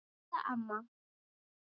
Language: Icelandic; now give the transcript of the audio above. Heiða amma.